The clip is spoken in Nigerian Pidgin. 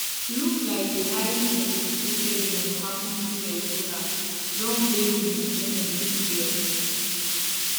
look like a highly sophisticated one happun though hezbollah dom blame im enemy israel